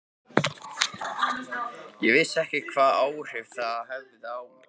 Ég vissi ekki hvaða áhrif það hefði á þig.